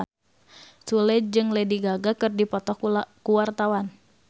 Sule jeung Lady Gaga keur dipoto ku wartawan